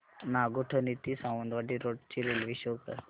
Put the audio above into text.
नागोठणे ते सावंतवाडी रोड ची railway show कर